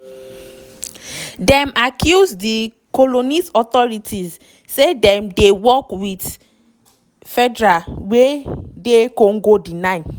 dem accuse di congolese authorities say dem dey work wit fdlr wey dr congo deny.